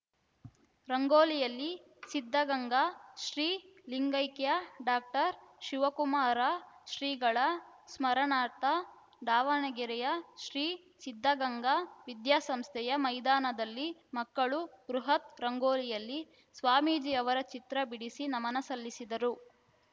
ರಂಗೋಲಿಯಲ್ಲಿ ಸಿದ್ಧಗಂಗಾ ಶ್ರೀ ಲಿಂಗೈಕ್ಯ ಡಾಕ್ಟರ್ ಶಿವಕುಮಾರ ಶ್ರೀಗಳ ಸ್ಮರಣಾರ್ಥ ದಾವಣಗೆರೆಯ ಶ್ರೀ ಸಿದ್ಧಗಂಗಾ ವಿದ್ಯಾಸಂಸ್ಥೆಯ ಮೈದಾನದಲ್ಲಿ ಮಕ್ಕಳು ಬೃಹತ್‌ ರಂಗೋಲಿಯಲ್ಲಿ ಸ್ವಾಮೀಜಿ ಅವರ ಚಿತ್ರ ಬಿಡಿಸಿ ನಮನ ಸಲ್ಲಿಸಿದರು